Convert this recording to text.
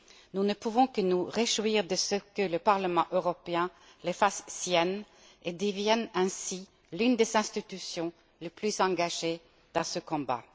Nous ne pouvons que nous réjouir de ce que le Parlement européen les fasse siennes et devienne ainsi l'une des institutions les plus engagées dans ce combat.